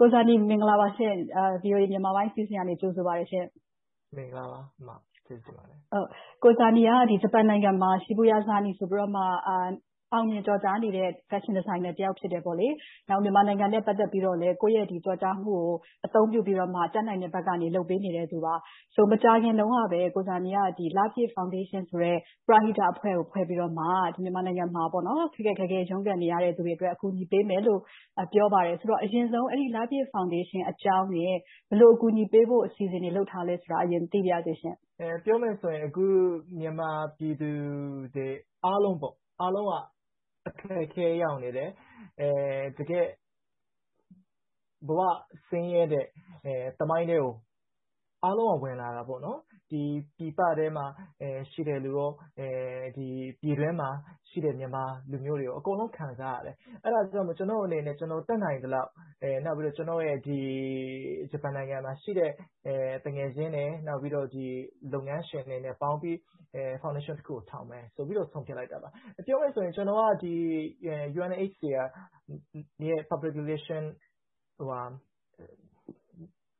ကိုဇာနည် မင်္ဂလာပါရှင့်။ VOA မြန်မာပိုင်းအစီအစဉ်က ကြိုဆိုပါတယ်ရှင့်။ ကိုဇာနည်က ဂျပန်နိုင်ငံမှာ Shibuya Zarny ဆိုပြီးတော့ အောင်မြင်ကျော်ကြားနေတဲ့ ဖက်ရှင်ဒီဇိုင်းနာတစ်ယောက် ဖြစ်တယ်။ နောက် မြန်မာနိုင်ငံနဲ့ ပတ်သက်ပြီးတော့လဲ ကိုယ့်ရဲ့ကျော်ကြားမှုကို အသုံးပြုပြီးတော့ တတ်နိုင်တဲ့ဘက်ကနေ လုပ်ပေးနေသူပါ။ ဆိုတော့ မကြာခင်တုန်းကပဲ ကိုဇာနည်က လပြည့်ဖောင်ဒေးရှင်ဆိုတဲ့ ပရဟိတအဖွဲ့ကို ဖွဲ့စည်းပြီးတော့ မြန်မာနိုင်ငံမှာ ခက်ခက်ခဲခဲ ရုန်းကန်နေကြသူတွေအတွက် အကူအညီပေးမယ်လို့ ပြောပါတယ်။ အရင်ဆုံး လပြည့်ဖောင်ဒေးရှင်းအကြောင်းနဲ့ ဘယ်လို အကူအညီပေးဖို့ အစီအစဉ်တွေ လုပ်ထားသလဲဆိုတာကို သိပါရစေရှင့်။ ပြောမယ်ဆိုရင် အခု မြန်မာပြည်သူတွေအားလုံးက အခက်အခဲရောက်နေကြတယ်။ တကယ့်ကို ဘဝဆင်းရဲတဲ့ သမိုင်းထဲကို အားလုံးက ဝင်လာတယ်။ ပြည်ပမှာ ရှိနေတဲ့လူတွေနဲ့ ပြည်တွင်းမှာ ရှိနေတဲ့ မြန်မာလူမျိုးတွေ အကုန်လုံး ခံစားနေကြရတယ်။ အဲဒါကြောင့်မို့ ကျနော့်အနေနဲ့ တတ်နိုင်သလောက်။ နောက်ပြီးတော့ ကျနော့်ရဲ့ ဂျပန်နိုင်ငံမှာရှိတဲ့ သူငယ်ချင်းနဲ့ နောက်ပြီးတော့ လုပ်ငန်းရှင်တွေနဲ့ ပေါင်းပြီးတော့ foundation တစ်ခုကို ထောင်မယ်ဆိုပြီး ဆုံးဖြတ်လိုက်တာပါ။ ပြောမယ်ဆိုရင် ကျနော်က UNHCR Public Relation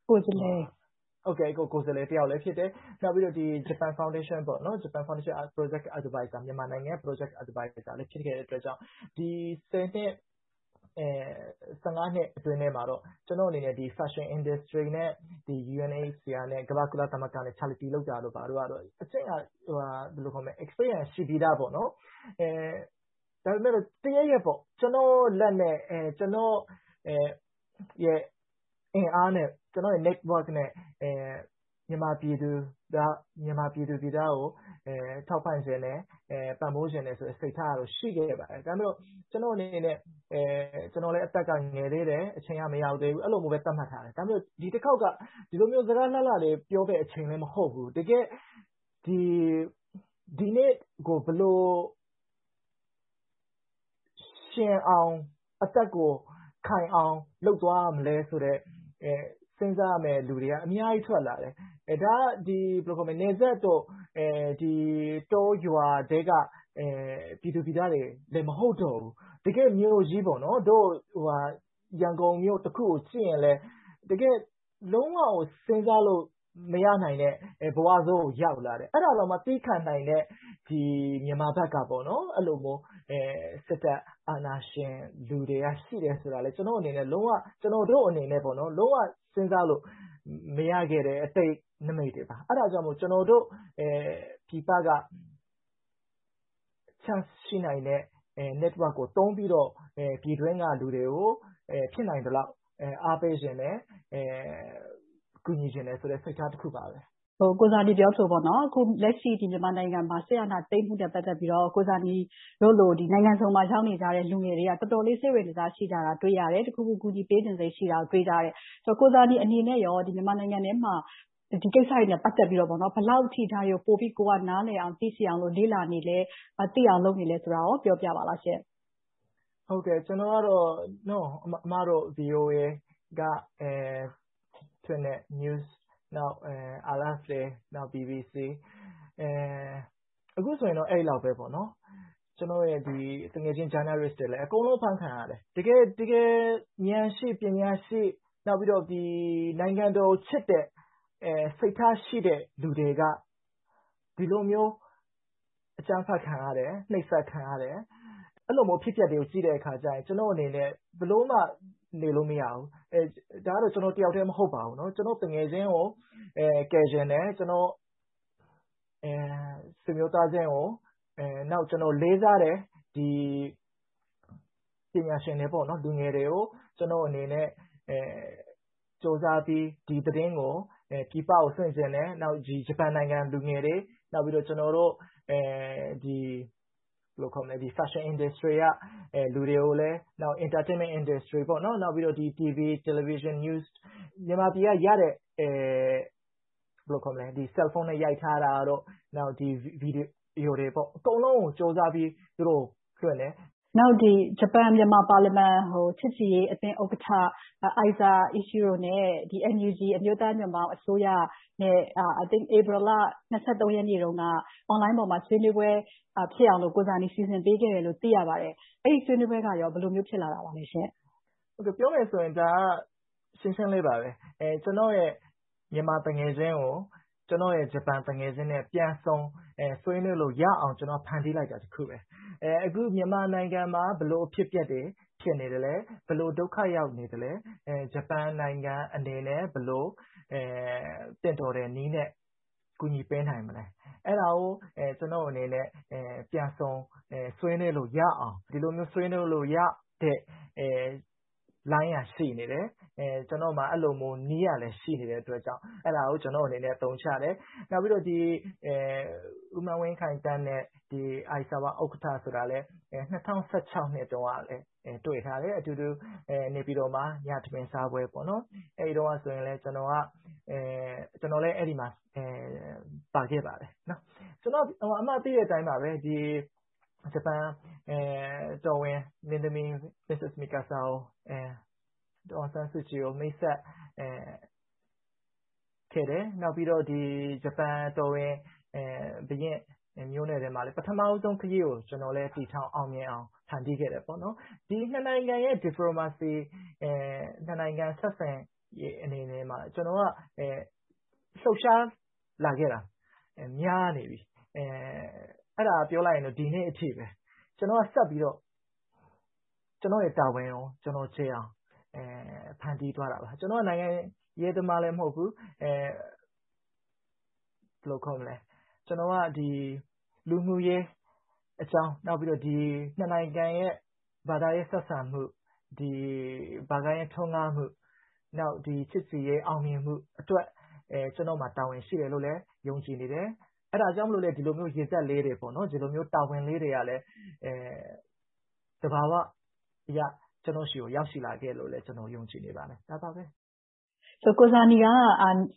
ကိုယ်စားလှယ်တစ်ယောက်လည်း ဖြစ်တယ်။ နောက်ပြီးတော့ ဂျပန်ဖောင်ဒေးရှင်းရဲ့ မြန်မာနိုင်ငံ စီမံကိန်းဒါရိုက်တာ လည်း ဖြစ်ခဲ့တော့ ဒီ နှစ် နှစ်အတွင်းမှာတော့ ကျနော့်အနေနဲ့ Fashion Industry နဲ့ UNHCR ကုလသမဂ္ဂတို့နဲ့ Charity လုပ်တာတို့ ဘာတို့ကြောင့် အတွေ့အကြုံက ရှိပြီသား။ ဒါပေမဲ့ တစ်ရက်ရက် ကျနော့်လက်နဲ့၊ ကျနော့်ရဲ့ အင်အားနဲ့ ကျနော့်ရဲ့ အဆက်အသွယ် Network နဲ့ မြန်မာပြည်သူပြည်သားတွေကို ထောက်ပံ့ချင်တယ်၊ ပံ့ပိုးချင်တယ်ဆိုတဲ့ စိတ်ထားကတော့ ရှိခဲ့ပါတယ်။ ဒါပေမဲ့ ကျနော့်အနေနဲ့ အသက်ကလဲ ငယ်သေတယ်၊ အချိန်က မရောက်သးဘူး။ အဲဒီလိုမျိုးပဲ သတ်မှတ်ထားတယ်။ ဒီတခေါက်က ဒီလိုမျိုး စကားလှလှတွေလည်း ပြောရမယ့်အချိန်လည်း မဟုတ်ဘူး။ တကယ့်ကို ဒီနေ့ကို ဘယ်လိုရှင်အောင်၊ အသက်ကိုခိုင်အောင်၊ လုပ်သွားရမလဲဆိုတဲ့ စဉ်းစားရမယ့်လူတွေက အများကြီးထွက်လာတယ်။ ဒါက နယ်စပ်တို့၊ တောရွာထဲက ပြည်သူပြည်သားတွေလည်း မဟုတ်တော့ဘူး။ တကယ့်မြို့ကြီး - ရန်ကုန်မြို့တစ်ခုကိုကြည့်ရင် လုံးဝကို စဉ်းစားလို့မရနိုင်တဲ့ ဘဝဆိုးကို ရောက်လာတယ်။ အဲဒါတောင်မှ သည်းခံနိုင်တဲ့ မြန်မာဘက်က အဲဒီလိုမျိုး စစ်တပ်အာဏာရှင်လူတွေ ရှိနေတယ်ဆိုတာကိုလည်း ကျနော့်အနေနဲ့ လုံးဝစဉ်းစားလို့ မရခဲ့တဲ့ အတိတ်နမိတ်တွေပါ။ အဲဒါကြောင့် ကျနော်တို့ ပြည်ပကနေ Chance ရှိနိုင်တဲ့ Network ကို သုံးပြီးတော့ ပြည်တွင်းက လူတွေကို ဖြစ်နိုင်သလောက် အားပေးချင်တယ်။ ကူညီချင်တဲ့ စိတ်ထားတစ်ခုပါပဲ။ ကိုဇာနည် ပြောသလို။ အခုလက်ရှိ မြန်မာနိုင်ငံမှာ စစ်အာဏာသိမ်းမှုနဲ့ ပတ်သက်ပြီးတော့ ကိုဇာနည်တို့လို နိုင်ငံစုံမှာ ရောက်နေကြတဲ့ လူငယ်တွေက တော်တော်လေး စိတ်ဝင်တစား ရှိကြတာကို တွေ့ရတယ်။ တစ်ခုခု ကူညီပေးချင်စိတ် ရှိကြတာကို တွေ့ရတယ်။ ကိုဇာနည်အနေနဲ့ မြန်မာနိုင်ငံအတွင်းမှာ ဒီကိစ္စတွေနဲ့ ပတ်သက်ပြီးတော့ ဘယ်လောက်အထိ ကိုယ်က နားလည်အောင်၊ သိရှိအောင် လေ့လာနေသလဲ။ သိအောင်လုပ်နေသလဲဆိုတာကို ပြောပြပေးပါရှင့်။ ကျနော်ကတော့ အမတို့ VOA က ထုတ်လွှင့်တဲ့ သတင်းတွေ၊ RFA, BBC တို့ အခုဆိုရင် အဲဒီလောက်ပါပဲ။ ပြီးတော့ ကျနော့်ရဲ့ သူငယ်ချင်း သတင်းသမားတွေလည်း အကုန်လုံး အဖမ်းခံရတယ်။ တကယ်ဉာဏ်ရှိ၊ ပညာရှိ နောက်ပြီးတော့ နိုင်ငံတော်ကိုချစ်တဲ့ စိတ်ထားရှိတဲ့ လူတွေက ဒီလိုမျိုး အကြမ်းဖက်ခံရတယ်။ နှိပ်စက်ခံရတယ်။ အဲဒီလိုမျိုး အဖြစ်အပျက်တွေကို ကြည့်တဲ့အခါမှာ ကျနော့်အနေနဲ့ ဘယ်လိုမှ နေလို့မရဘူး။ ဒါကတော့ ကျနော်တစ်ယောက်ထဲ မဟုတ်ပါဘူး။ ကျနော့်သူငယ်ချင်းကို ကယ်ချင်တယ်။ ကျနော့်ဆွေမျိုးသားချင်းကို။ နောက် ကျနော် လေးစားတဲ့ ပညာရှင်တွေ၊ လူငယ်တွေကို ကျနော့်အနေနဲ့ ကြိုးစားပြီး ဒီသတင်းကို ပြည်ပကို လွှင့်ချင်တယ်။ ဂျပန်နိုင်ငံလူငယ်တွေ နောက်ပြီးတော့ Fashion Industry ထဲက လူတွေနဲ့ Entertainment Industry နောက်ပြီးတော့ TV, News တွေကို မြန်မာပြည်က ရထားတဲ့ Cellphone နဲ့ ရိုက်ထားတာတို့ ဗီဒီယိုတွေ အကုန်လုံးကို ကြိုးစားပြီးတော့ သူတို့ကို ပေးသိတယ်။ ဂျပန်-မြန်မာ ပါလီမန် ချစ်ကြည်ရေးအသင်း ဥက္ကဋ္ဌ Ichiro Aisawa နဲ့ NUG အမျိုးသားညွှန့်ပေါင်းအစိုးရတို့ ဧပြီလ ရက်နေ့က Online ပေါ်မှာ ဆွေးနွေးပွဲ ဖြစ်အောင်လို့ ကိုဇာနည် စီစဉ်ပေးခဲ့တယ်လို့ သိရပါတယ်။ အဲဒီဆွေးနွေးပွဲက ဘယ်လိုမျိုး ဖြစ်လာပါလဲ။ ပြောမယ်ဆိုရင်တော့ ဒါကတော့ ရှင်းရှင်းလေးပါပဲ။ ကျနော့်ရဲ့ မြန်မာသူငယ်ချင်းကို ကျနော့်ရဲ့ ဂျပန်သူငယ်ချင်းနဲ့ ပြန်ဆုံဆွေးနွေးခွင့်ရအောင် ဖန်တီးလိုက်တာ တစ်ခုပါပဲ။ အခု မြန်မာနိုင်ငံမှာ ဘယ်လိုအဖြစ်အပျက်တွေ ဖြစ်နေသလဲ။ ဘယ်လို ဒုက္ခရောက်နေသလဲ။ ဂျပန်နိုင်ငံအနေနဲ့ ဘယ်လို သင့်တော်တဲ့နည်းနဲ့ ကူညီပေးနိုင်မလဲ။ အဲဒါကို ကျနော့်အနေနဲ့ ပြန်ဆုံဆွေးနွေးလို့ရအောင် ဒီလိုမျိုး ဆွေးနွေးလို့ရတဲ့ လိုင်းက ရှိနေတယ်။ ကျနော့်မှာ အဲဒီလိုမျိုး နည်းကလည်း ရှိနေတဲ့အတွက်ကြောင့် ကျနော့်အနေနဲ့ အသုံးချတယ်။ နောက်ပြီးတော့ ဦးမန်းဝင်းခိုင်သန်းနဲ့ Aisawa ဥက္ကဋ္ဌ ဆိုတာလည်း ၂၀၁၆ တုန်းကလည်း တွေ့ထားတယ်။ အတူတူ နေပြည်တော်မှာ ညစာစားခဲ့ကြတယ်။ အဲဒီတုန်းက ကျနော်လည်း အဲဒီမှာ ပါခဲ့ပါတယ်။ သိတဲ့အတိုင်းပါပဲ ဂျပန်တော်ဝင်မင်းသမီး Yoko of Mikasa နဲ့ ဒေါ်အောင်ဆန်းစုကြည်နဲ့ မိတ်ဆက်ပေးခဲ့တယ်။ နောက် ဂျပန်တော်ဝင် မျိုးနွယ်ထဲမှာလည်း ပထမဦးဆုံး ခရီးကိုလည်း အောင်မြင်အောင် ဖန်တီးခဲ့တယ်။ ဒီနှစ်နိုင်ငံရဲ့ diplomacy နှစ်နိုင်ငံ ဆက်ဆံရေးမှာ ကျနော်က လှုပ်ရှားနေခဲ့တာ များနေပြီ။ အဲဒါကိုပြောမယ်ဆိုရင် ဒီနေ့အထိပဲ။ ကျနော်က ကျနော့်တာဝန်ကိုကျေအောင် ဖန်တီးသွားတာပါ။ ကျနော်က နိုင်ငံရေးသမားလည်း မဟုတ်ဘူး။ လူမှုရေးအကြောင်း၊ နှစ်နိုင်ငံရဲ့ ဘာသာရေးဆက်ဆံမှု၊ ဘာသာရေးထွန်းကားမှု၊ ချစ်ကြည်ရေးအောင်မြင်မှုအတွက် ကျနော့်မှာ တာဝန်ရှိတယ်လို့လည်း ယုံကြည်နေတယ်။ အဲဒါကြောင့်လဲ ဒီလိုမျိုး ရေစက်လေးတွေ၊ တာဝန်လေးတွေကလည်း သဘာဝလျှောက် ကျနော်ဆီ ရောက်ရှိလာခဲ့တယ်လို့ ကျနော် ယုံကြည်နေပါတယ်။ ကိုဇာနည်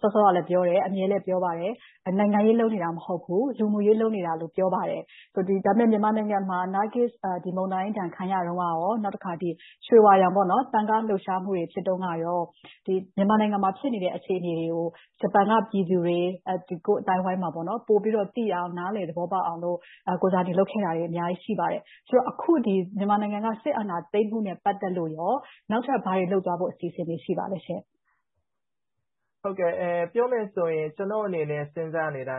က စောစောကလည်း ပြောတယ်။ အမြဲလည်း ပြောပါတယ်။ နိုင်ငံရေး လုပ်နေတာ မဟုတ်ဘူး။ လူမှုရေး လုပ်နေတာလို့ ပြောပါတယ်။ ဒါပေမဲ့ မြန်မာနိုင်ငံမှာ နာဂစ်မုန်တိုင်းဒဏ် ခံရတုန်းကနဲ့ ရွှေဝါရောင် သံဃာလှုပ်ရှားမှုတွေ ဖြစ်တုန်းက မြန်မာနိုင်ငံမှာ ဖြစ်နေတဲ့ အခြေအနေတွေကို ဂျပန်က ပြည်သူတွေ အသိုင်းအဝိုင်းတွေ ပိုပြီးတော့ သိအောင်၊ နားလည်သဘောပေါက်အောင် ကိုဇာနည် လုပ်ခဲ့တာတွေ အများကြီး ရှိပါတယ်။ အခု မြန်မာနိုင်ငံမှာ စစ်အာဏာသိမ်းမှုနဲ့ ပတ်သက်လို့ နောက်ထပ်ဘာတွေလုပ်သွားဖို့ အစီအစဉ်တွေ ရှိပါသလဲရှင့်။ ပြောမယ်ဆိုရင် ကျနော့်အနေနဲ့ စဉ်းစားနေတာ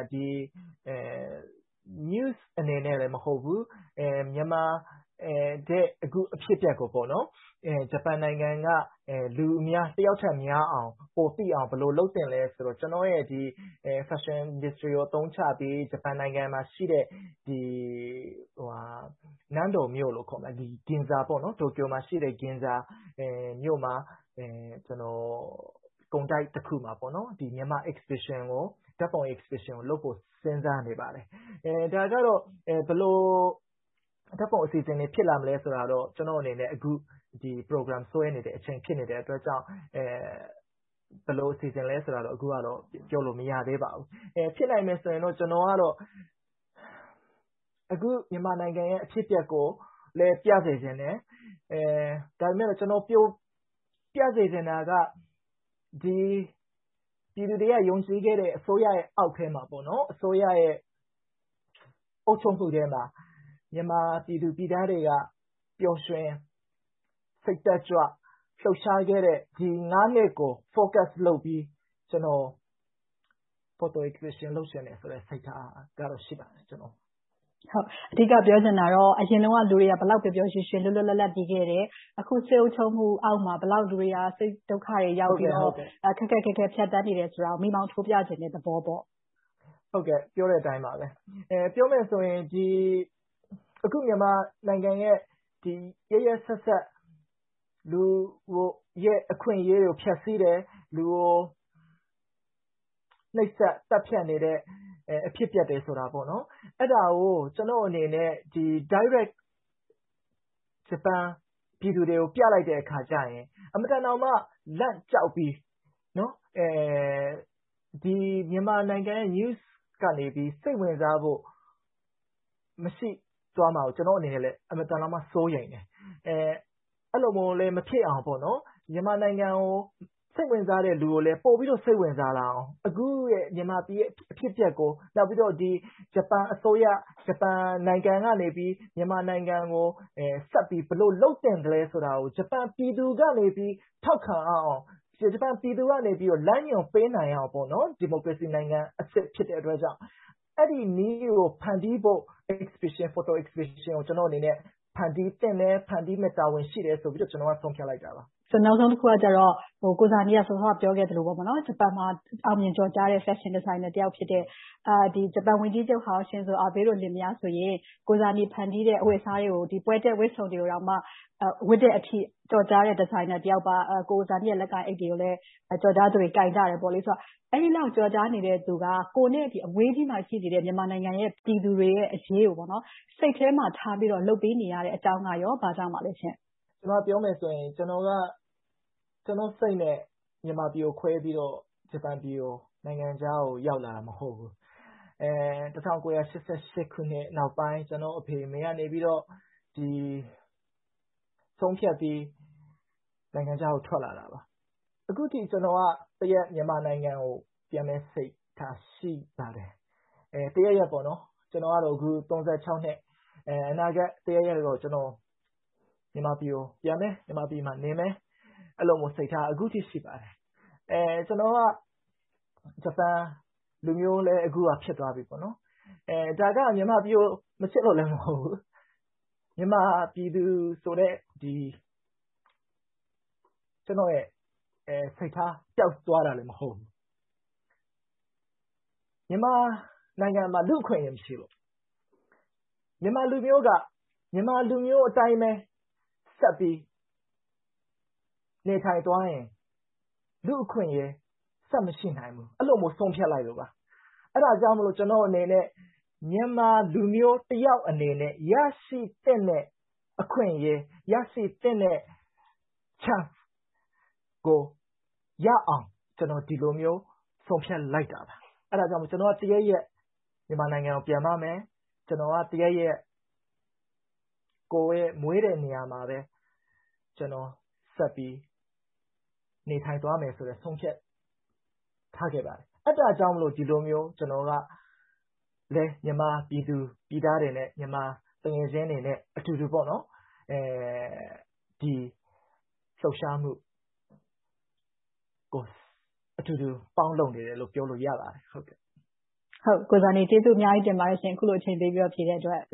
News အနေနဲ့ မဟုတ်ဘူး။ မြန်မာပြည်က အခုအဖြစ်အပျက်တွေကို ဂျပန်နိုင်ငံက လူအများ တစ်ယောက်ထက်များအောင် ပိုသိအောင် ဘယ်လိုလုပ်သင့်သလဲဆိုတာကို ကျနော့်ရဲ့ Fashion Industry အသုံးချပြီး ဂျပန်နိုင်ငံမှာရှိတဲ့ နန်းတော်မြို့လို့ခေါ်တဲ့ တိုကျိုမှာရှိတဲ့ ဂင်ဇာ မြို့ ကုန်တိုက်တစ်ခုမှာ မြန်မာဓါတ်ပုံပြပွဲ လုပ်ဖို့ စဉ်းစားနေပါတယ်။ ဘယ်လိုဓါတ်ပုံပြပွဲ ဖြစ်လာမလဲဆိုတာတော့ ကျနော့်အနေနဲ့ အခု Program ဆွဲနေတယ်အချိန် ဖြစ်နေတာမို့ ဘယ်လိုအစီအစဉ် ဖြစ်မလဲဆိုတာကိုတော့ အခုတော့ မရသေးပါဘူး။ ဖြစ်နိုင်မယ်ဆိုရင်တော့ ကျနော်က အခု မြန်မာနိုင်ငံရဲ့ အဖြစ်အပျက်ကိုလည်း ပြစေချင်တယ်။ ဒါပေမဲ့ ကျနော် ပြစေချင်တာက ပြည်သူတွေက ယုံကြည်ခဲ့တဲ့ အစိုးရရဲ့ အောက်ထဲမှာ၊ အစိုးရရဲ့ အုပ်ချုပ်မှုထဲမှာ မြန်မာပြည်သူပြည်သားတွေက ပျော်ရွှင်စိတ်တက်ကြွ၊ လှုပ်ရှားခဲ့တဲ့ နှစ်ကို Focus လုပ်ပြီး၊ Photo Exhibition လုပ်ချင်ပါတယ်။ အဓိက ပြောချင်တာကတော့ အရင်တုန်းက လူတွေက ဘယ်လောက်ပျော်ပျောင်ရွှင်ရွှင် လွတ်လွတ်လပ်လပ် နေခဲ့တယ်။ အခု စစ်အုပ်ချုပ်မှုအောက်မှာ လူတွေက ဘယ်လောက် စိတ်ဒုက္ခတွေရောက်ပြီး ခက်ခက်ခဲခဲ ဖြတ်သန်းနေတယ်ဆိုတာကို မီးမောင်းထိုးပြချင်တဲ့ သဘောပေါ့။ ဟုတ်ကဲ့ ပြောတဲ့အတိုင်းပါပဲ။ ပြောမယ်ဆိုရင် မြန်မာနိုင်ငံရဲ့ ရက်ရက်စက်စက် လူ့အခွင့်အရေးတွေကို ဖျက်ဆီးတယ်။ လူကို နှိပ်စက်သတ်ဖြတ်နေတဲ့ အဖြစ်အပျက်တွေဆိုတာ - အဲဒါကို ကျနော့်အနေနဲ့ တိုက်ရိုက် ဂျပန်ပြည်သူတွေကို ပြလိုက်တဲ့အခါကြရင် အင်မတန်မှ လန့်ကြောက်ပြီး မြန်မာနိုင်ငံ News ကနေ စိတ်ဝင်စားမှု မရှိသွားမှာကို ကျနော့်အနေနဲ့ အင်မတန်မှ စိုးရိမ်တယ်။ အဲဒီလိုမျိုးလဲ မဖြစ်အောင်၊ မြန်မာနိုင်ငံကို စိတ်ဝင်စားတဲ့လူကိုလည်း ပိုပြီးတော့ စိတ်ဝင်စားလာအောင် အခု မြန်မာပြည်ရဲ့ အဖြစ်အပျက်ကို၊ နောက်ပြီးတော့ ဂျပန်အစိုးရ ဂျပန်နိုင်ငံကနေပြီး မြန်မာနိုင်ငံကို ဆက်ပြီးတော့ ဘယ်လိုလုပ်သင့်သလဲဆိုတာကို ဂျပန်ပြည်သူတွေ ထောက်ခံလာအောင်၊ ဂျပန်ပြည်သူတွေက လမ်းညွှန်ပေးနိုင်အောင် ဒီမိုကရေစနိုင်ငံ အစစ်ဖြစ်တဲ့အတွက်ကြောင့် အဲဒီနည်းကို ဖန်တီးဖို့ Photo Exhibition ကို ဖန်တီးသင့်တယ်။ ဖန်တီးရမယ့် တာဝန်ရှိတယ်လို့ ကျနော့်အနေနဲ့ ဆုံးဖြတ်လိုက်တာပါ။ နောက်ဆုံးတစ်ခုကတော့ ကိုဇာနည် စောစောက ပြောခဲ့သလို ဂျပန်မှာ အောင်မြင်ကျော်ကြားတဲ့ ဖက်ရှင်ဒီဇိုင်းနာတစ်ယောက်ဖြစ်ပြီး၊ ဂျပန်ဝန်ကြီးချုပ်ဟောင်း Shinzo Abe တို့ လင်မယားဆိုရင် ကိုဇာနည် ဖန်တီးတဲ့ အဝတ်အစားတွေကို ပွဲတက်ဝတ်စုံတွေကိုမှ ဝတ်တဲ့အထိ ကျော်ကြားတဲ့ ဒီဇိုင်းနာတစ်ယောက်ပါ။ ကိုဇာနည်ရဲ့ လက်ကိုင်အိတ်တွေကိုလည်း ကျော်ကြားသူတွေ ကိုင်ကြတယ်ဆိုတော့ အဲဒီလောက် ကျော်ကြားနေသူက ကိုယ်နဲ့ အဝေးကြီးမှာ ရှိနေတဲ့ မြန်မာနိုင်ငံ ပြည်သူတွေရဲ့ အရေးကို စိတ်ထဲမှာထားပြီးတော့ လုပ်ပေးနေရတဲ့အကြောင်းက ဘာကြောင့်ပါလဲရှင့်။ ပြောမယ်ဆိုရင် ကျနော့်စိတ်နဲ့ မြန်မာပြည်ကို ခွဲပြီးတော့ ဂျပန်ပြည် နိုင်ငံခြားကို ရောက်လာတာ မဟုတ်ဘူး။ ၁၉၈၈ ခုနှစ် နောက်ပိုင်း ကျနော့် အဖေ၊ အမေတို့က ဆုံးဖြတ်ပြီး နိုင်ငံခြားကို ထွက်လာတာပါ။ အခုထိ ကျနော်က တစ်ရက် မြန်မာနိုင်ငံကို ပြန်မယ့်စိတ်ထား ရှိပါတယ်။ တစ်ရက်ရက်ပေါ့။ အခု အသက် နှစ်။ အနာဂတ်တစ်ရက်ရက်တော့ မြန်မာပြည်ကို ပြန်မယ်။ မြန်မာပြည်မှာ နေမယ်။ အဲဒီလိုမျိုးစိတ်ထား အခုထိ ရှိပါတယ်။ ကျနော်က ဂျပန်လူမျိုးလည်း အခုက ဖြစ်သွားပြီ။ ဒါက မြန်မာပြည်ကို မချစ်လို့လည်း မဟုတ်ဘူး။ မြန်မာပြည်သူဆိုတဲ့ ကျနော့်ရဲ့ စိတ်ထားပျောက်သွားတာလည်း မဟုတ်ဘူး။ မြန်မာနိုင်ငံမှာ လူ့အခွင့်အရေး မရှိဘူး။ မြန်မာလူမျိုးက မြန်မာလူမျိုးအတိုင်းပဲ ဆက်ပြီးနေထိုင်သွားရင် လူ့အခွင့်အရေး ဆက်မရှိနိုင်ဘူး။ အဲဒါကြောင့် ဆုံးဖြတ်လိုက်တာပါ။ အဲဒါကြောင့်မို့ ကျနော့်အနေနဲ့ မြန်မာလူမျိုးတစ်ယောက်အနေနဲ့ ရရှိသင့်တဲ့ အခွင့်အရေး၊ ရရှိသင့်တဲ့ chance ကို ရအောင် ကျနော် ဒီလိုမျိုး ဆုံးဖြတ်လိုက်တာပါ။ အဲဒါကြောင့် တစ်ရက်ရက် မြန်မာနိုင်ငံကို ပြန်ပါမယ်။ တစ်ရက်ရက် ကိုယ်မွေးတဲ့နေရာမှာပဲ ကျနော်ဆက်ပြီး နေထိုင်သွားမယ်ဆိုတာကို ဆုံးဖြတ်ထားပါတယ်။ အဲဒါကြောင့်မို့ ဒီလိုမျိုး ကျနော်က မြန်မာပြည်သူပြည်သားတွေနဲ့ မြန်မာသူငယ်ချင်းတွေနဲ့အတူတူ ဒီလှုပ်ရှားမှုကြီးကို အတူတူပေါင်းလုပ်နေတယ်လို့ ပြောလို့ရပါတယ်။ ကိုဇာနည် အခုလို အချိန်ပေးပြီး ဖြေကြားပေးတဲ့အတွက် ကျေ